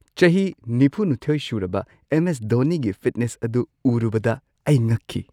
ꯆꯍꯤ ꯴꯲ ꯁꯨꯔꯕ M. S. ꯙꯣꯅꯤꯒꯤ ꯐꯤꯠꯅꯦꯁ ꯑꯗꯨ ꯎꯔꯨꯕꯗ ꯑꯩ ꯉꯛꯈꯤ ꯫